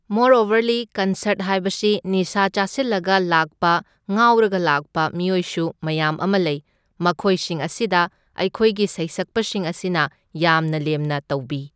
ꯃꯣꯔꯑꯣꯕꯔꯂꯤ concert ꯍꯥꯏꯕꯁꯤ ꯅꯤꯁꯥ ꯆꯥꯁꯤꯜꯂꯒ ꯂꯥꯛꯄ ꯉꯥꯎꯔꯒ ꯂꯥꯛꯄ ꯃꯤꯑꯣꯢꯁꯨ ꯃꯌꯥꯝ ꯑꯃ ꯂꯩ, ꯃꯈꯣꯏꯁꯤꯡ ꯑꯁꯤꯗ ꯑꯩꯈꯣꯏꯒꯤ ꯁꯩꯁꯛꯄꯁꯤꯡ ꯑꯁꯤꯅ ꯌꯥꯝꯅ ꯂꯦꯝꯅ ꯇꯧꯕꯤ꯫